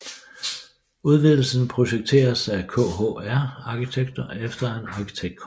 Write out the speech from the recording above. Udvidelsen projekteres af KHR arkitekter efter en arkitektkonkurrence